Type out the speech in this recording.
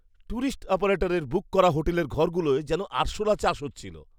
Tourist অপারেটারের book করা হোটেলের ঘরগুলোয় যেন আরশোলা চাষ হচ্ছিল!